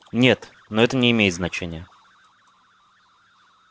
нет но это не имеет значения